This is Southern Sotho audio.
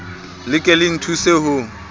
le ke le nthuse ho